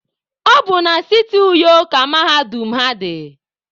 Ọ bụ na siti Uyo ka mahadum ha dị.